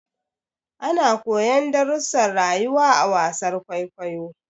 Ana koyon darrusan rayuwa a wasar kwaikwayo